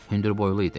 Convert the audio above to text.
Hündürboylu idi.